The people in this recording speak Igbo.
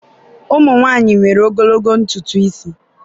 ụmụ nwanyị nwere ogologo ntutu isi.